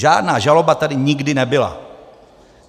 Žádná žaloba tady nikdy nebyla.